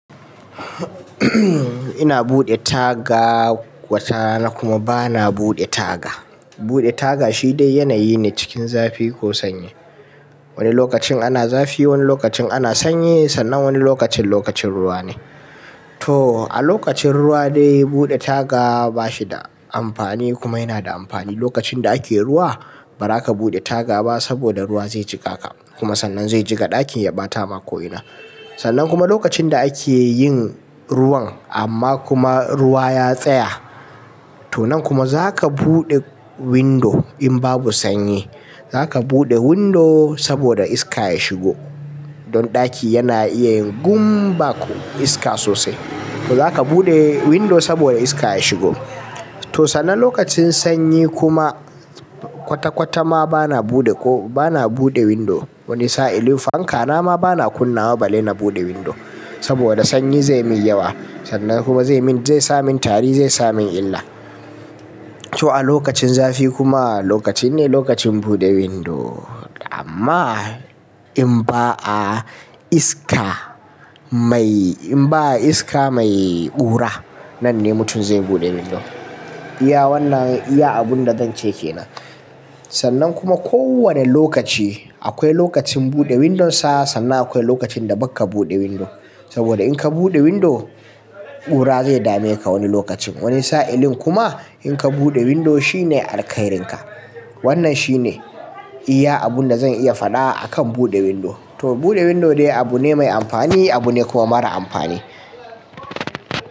Ina buɗe taga watarana kuma bana buɗe taga. Buɗe taga shi dai yanayi ne cikin zafi ko sanyi. Wani lokacin ana zafi, wani lokacin ana sanyi, sannan wani lokacin lokacin ruwa ne. To a lokacin ruwa dai buɗe taga ba shi da amfani kuma yana da amfani. Lokacin da ake ruwa, ba za ka buɗe taga ba saboda ruwa zai jiƙa ka kuma sannan zai jiƙa ɗakin ya ɓata ma ko'ina. Sannan kuma lokacin da ake yin ruwan amma kuma ruwa ya tsaya, to nan kuma za ka buɗe window in babu sanyi. Za ka buɗe window saboda iska ya shigo. Don ɗaki yana iya yin gum bak' iska sosai. To za ka buɗe window saboda iska ya shigo. To sannan lokacin sanyi kuma kwata kwata ma bana buɗe ko bana buɗe window. Wani sa'ilin fanka na ma bana kunna wa balai na buɗe window saboda sanyi zai min yawa. Sannan kuma zai min, zai sa min tari, zai sa min illa. To a lokacin zafi kuma lokaci ne lokacin buɗe window amma in ba a iska mai, in ba a iska mai ƙura, nan ne mutum zai buɗe window. Iya wannan iya abun da zan ce ke nan. Sannan kuma ko wane lokaci akwai lokacin buɗe window sa, sannan akwai lokacin da baka buɗe window. Saboda in ka buɗe window, ɓura zai dame ka wani lokacin. Wani sa'ilin kuma in ka buɗe window shi ne alkairin ka. Wannan shi ne iya abunda zan iya faɗa a kan buɗe window. To buɗe window dai abu ne mai amfani, abu ne kuma mara amfani.